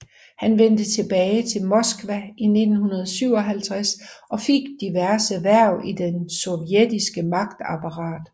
Han vendte tilbage til Moskva i 1957 og fik diverse hverv i det sovjetiske magtapparat